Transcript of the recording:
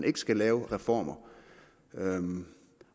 ikke skal laves reformer